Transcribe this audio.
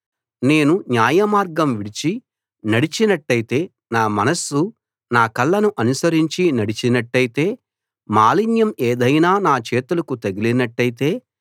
నేను న్యాయ మార్గం విడిచి నడచినట్టయితే నా మనస్సు నా కళ్ళను అనుసరించి నడిచినట్టయితే మాలిన్యం ఏదైనా నా చేతులకు తగిలినట్టయితే